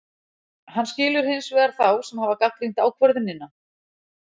Hann skilur hins vegar þá sem hafa gagnrýnt ákvörðunina.